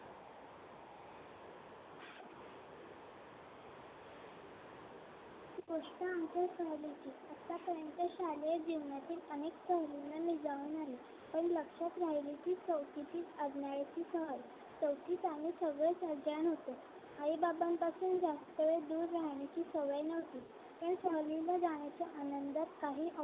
जाऊन आले पण लक्षात राहील की चौथीची सहल चौथीत आम्ही सगळेच अज्ञान होतो आई बाबांपासून जास्त वेळ दूर राहायची सवय नव्हती त्या सहलीला जाण्याच्या आनंदात काही